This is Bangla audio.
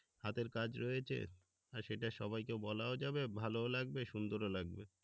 হাতের কাজ রয়েছে সেটা সবাইকে বলাও যাবে ভালোও লাগবে সুন্দরও লাগবে